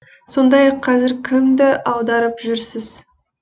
сондай ақ қазір кімді аударып жүрсіз